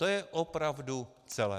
To je opravdu celé.